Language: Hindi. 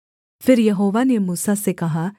फिर यहोवा ने मूसा से कहा